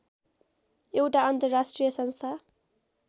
एउटा अन्तर्राष्ट्रिय संस्था